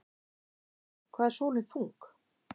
Hvað er sólin þung?